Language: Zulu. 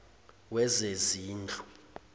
wezezindlu